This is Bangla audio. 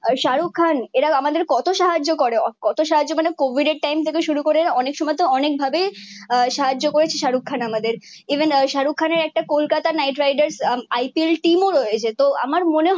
শাহরুখ খান এরা আমাদের কত সাহায্য করে মানে কোবিদ এর টাইম থেকে শুরু করে অনেক সময় তো অনেক ভাবে সাহায্য করেছে শারুখ খান আমাদের ইভেন শাহরুখ খানের একটা Kolkata Knight Riders IPL team ও রয়েছে তো আমার মনে হয়ে